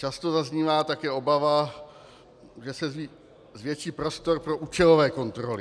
Často zaznívá také obava, že se zvětší prostor pro účelové kontroly.